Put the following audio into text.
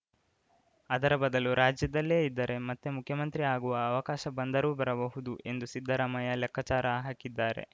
ಅದರ ಬದಲು ರಾಜ್ಯದಲ್ಲೇ ಇದ್ದರೆ ಮತ್ತೆ ಮುಖ್ಯಮಂತ್ರಿ ಆಗುವ ಅವಕಾಶ ಬಂದರೂ ಬರಬಹುದು ಎಂದು ಸಿದ್ದರಾಮಯ್ಯ ಲೆಕ್ಕಚಾರ ಹಾಕಿದ್ದಾರೆ